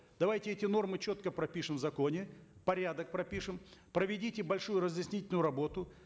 давайте эти нормы четко пропишем в законе порядок пропишем проведите большую разъяснительную работу